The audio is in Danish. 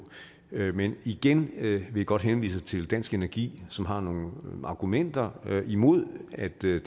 men igen vil jeg godt henvise til dansk energi som har nogle argumenter imod at det